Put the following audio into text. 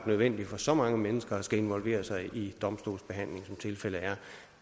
nødvendigt for så mange mennesker at skulle involvere sig i en domstolsbehandling som tilfældet er